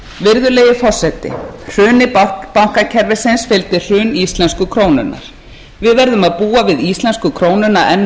virðulegi forseti hruni bankakerfisins fylgdi hrun íslensku krónunnar við verðum að búa við íslensku krónuna enn um